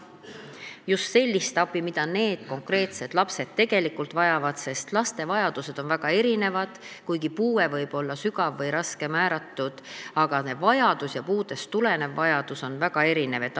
Just sellist abi, mida need konkreetsed lapsed tegelikult vajavad, sest laste vajadused on väga erinevad, kuigi neile võib olla määratud sügav või raske puue, aga vajadused, puudest tulenevad vajadused on väga erinevad.